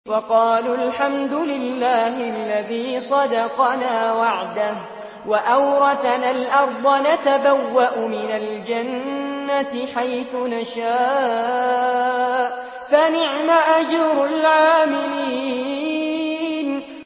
وَقَالُوا الْحَمْدُ لِلَّهِ الَّذِي صَدَقَنَا وَعْدَهُ وَأَوْرَثَنَا الْأَرْضَ نَتَبَوَّأُ مِنَ الْجَنَّةِ حَيْثُ نَشَاءُ ۖ فَنِعْمَ أَجْرُ الْعَامِلِينَ